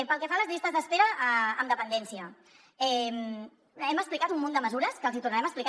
pel que fa a les llistes d’espera en dependència hem explicat un munt de mesures que els hi tornarem a explicar